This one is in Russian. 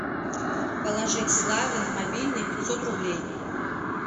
положить славе на мобильный пятьсот рублей